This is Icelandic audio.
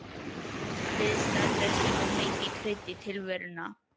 Viðstaða þess var mikið krydd í tilveruna.